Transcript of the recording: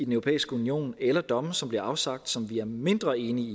europæiske union eller domme som bliver afsagt som vi er mindre enige i